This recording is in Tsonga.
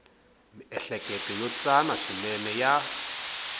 miehleketo yo tsana swinene ya